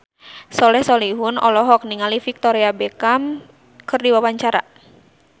Soleh Solihun olohok ningali Victoria Beckham keur diwawancara